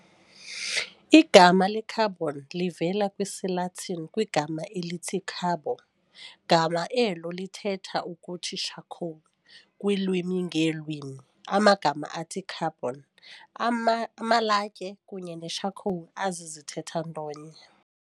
Igama le-carbon livela kwisiLatin kwigama elithi "carbo", gama elo lithetha ukuthi charcoal. Kwiilwimi ngeelwimi amagama athi carbon, amalatye kunye ne-charcoal azizithetha nto nye.